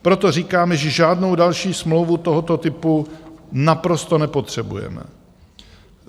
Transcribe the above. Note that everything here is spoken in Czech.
Proto říkáme, že žádnou další smlouvu tohoto typu naprosto nepotřebujeme.